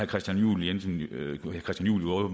christian juhl jo i øvrigt